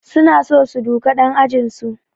Suna so su duka ɗan ajinsu